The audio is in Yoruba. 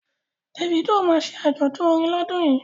Davido ma ṣe àjọ̀dún orin lọ́dún yìí